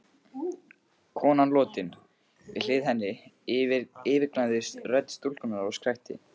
Konan lotin, við hlið henni, yfirgnæfði rödd stúlkunnar og skrækti